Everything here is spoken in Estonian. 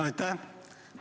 Aitäh!